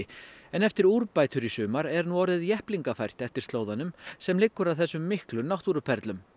en eftir úrbætur í sumar er orðið jepplingafært eftir slóðanum sem liggur að þessum miklu náttúruperlum